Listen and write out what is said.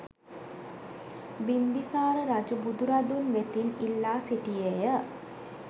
බිම්බිසාර රජු බුදු රදුන් වෙතින් ඉල්ලා සිටියේ ය.